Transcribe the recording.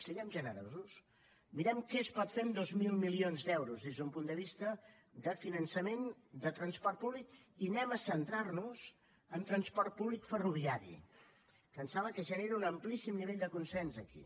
siguem generosos mirem què es pot fer amb dos mil milions d’euros des d’un punt de vista de finançament de transport públic i anem a centrar nos en transport públic ferroviari que em sembla que genera un amplíssim nivell de consens aquí